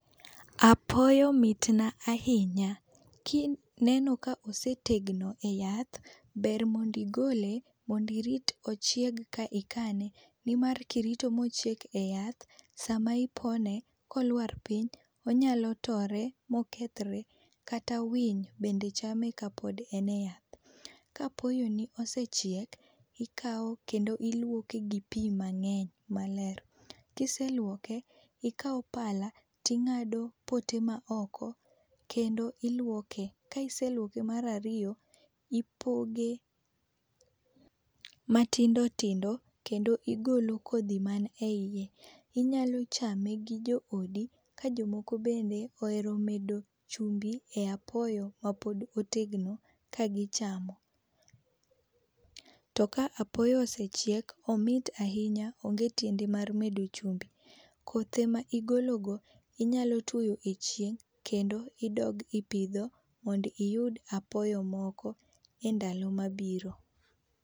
Apoyo mit na ahinya, ki ineno ka osetegno e yath ber mondo igole mondo irit ochieg e ka ikane nni mar ka irto ma ochiek e yath to sa ma ipone ko oluar piny onyalo tore ma okethere kata awiny bende chan ka pod en e yath. Ka apoyo ni osechiek to ikawo iluoko gi pi aler ,kiseluoke to ikawo pala to ingado go pote ma oko. kendo iluoke ka iseluoke mar ariyo to ioge matindotindo kendo igolo kodhi ma ni e iye inyalo chame gi jo odi ka jomoko be ohere medo chumbi e a apoyo ma pod otegno ka gi chamo .To ka apoyo esachiek to omit ahinya onge tiende keto e chumbi, kothe ma igolo go inyalo tuoyo e chieng kendo idog ipidho mondo iyud apoyo moko e ndalo ma biro.